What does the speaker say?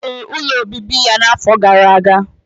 Ọ rụrụ ụlọ obibi ya afọ gara aga.